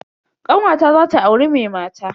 Kanwata zata auri mai mata.